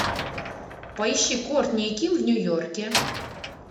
поищи кортни и ким в нью йорке